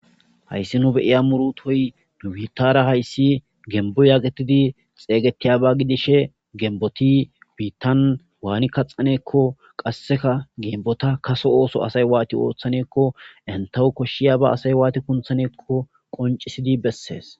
hayssi nu beyiya murutoy dubiittara hayssi gembo yaaqetidi xeeygetiyaba gidishe genboti biittan waani kaxaneekko qasseka geembota kase ooso asay waati ooththaneekko entahu koshshiyaba asay waati kunthaneekko qoncisidi bessees